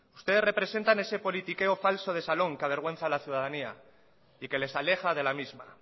ustedes representan ese politiqueo falso de salón que avergüenza a la ciudadanía y que les aleja de la misma